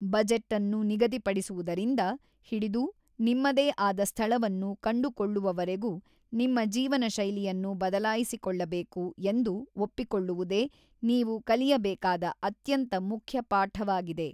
ಬಜೆಟ್ಅನ್ನು ನಿಗದಿಪಡಿಸುವುದರಿಂದ ಹಿಡಿದು ನಿಮ್ಮದೇ ಆದ ಸ್ಥಳವನ್ನು ಕಂಡುಕೊಳ್ಳುವವರೆಗೂ, ನಿಮ್ಮ ಜೀವನಶೈಲಿಯನ್ನು ಬದಲಾಯಿಸಿಕೊಳ್ಳಬೇಕು ಎಂದು ಒಪ್ಪಿಕೊಳ್ಳುವುದೇ ನೀವು ಕಲಿಯಬೇಕಾದ ಅತ್ಯಂತ ಮುಖ್ಯ ಪಾಠವಾಗಿದೆ.